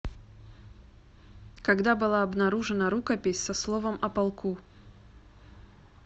когда была обнаружена рукопись со словом о полку